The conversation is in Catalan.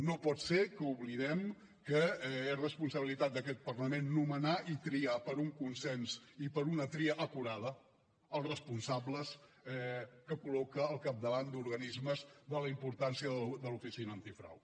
no pot ser que oblidem que és responsabilitat d’aquest parlament nomenar i triar per un consens i per una tria acurada els responsables que col·loca al capdavant d’organismes de la importància de l’oficina antifrau